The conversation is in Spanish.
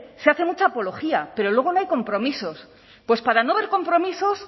se hace mucha apología pero luego no hay compromisos pues para no haber compromisos